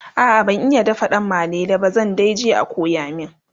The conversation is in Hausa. a'a ban iya dafa danmalele ba zan daije a koya min